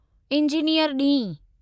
engineer ॾींहुं